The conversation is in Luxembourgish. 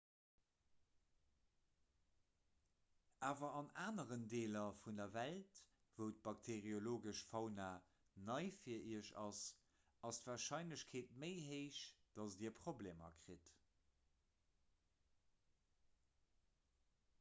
awer an aneren deeler vun der welt wou d'bakteeriologesch fauna nei fir iech ass ass d'warscheinlechkeet méi héich datt dir problemer kritt